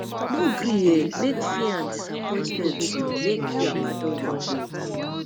no gree um make fear and disappointment um make you abandon your goal